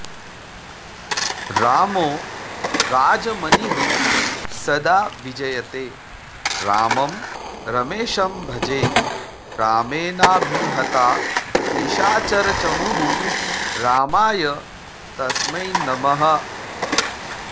रामो राजमणिः सदा विजयते रामं रमेशं भजे रामेणाभिहता निशाचरचमूः रामाय तस्मै नमः